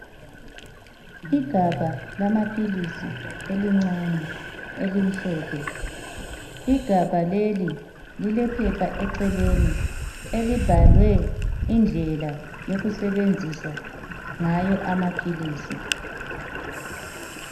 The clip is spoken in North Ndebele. Igabha lamaphilisi elincane elimhlophe. Igabha leli lilephepha eceleni elibhalwe indlela yokusebenzisa ngayo amaphilisi